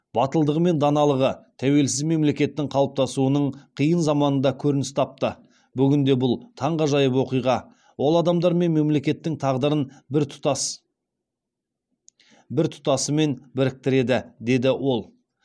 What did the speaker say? батылдығы мен даналығы тәуелсіз мемлекеттің қалыптасуының қиын заманында көрініс тапты бүгінде бұл таңғажайып оқиға ол адамдар мен мемлекеттің тағдырын бір тұтасымен біріктіреді деді ол